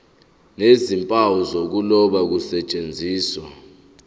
nezimpawu zokuloba kusetshenziswe